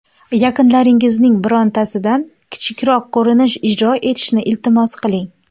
Yaqinlaringizning birontasidan kichikroq ko‘rinish ijro etishni iltimos qiling.